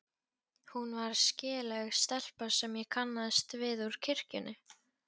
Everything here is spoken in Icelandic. Hún var skelegg stelpa sem ég kannaðist við úr kirkjunni.